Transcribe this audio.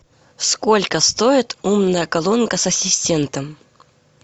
сколько стоит умная колонка с ассистентом